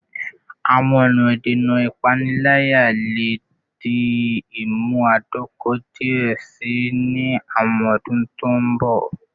Awọn ọna idena ipanilaya le di imunadoko diẹ sii ni awọn ọdun to n bọ